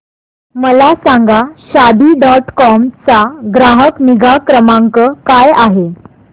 मला सांगा Shaadi dot com चा ग्राहक निगा क्रमांक काय आहे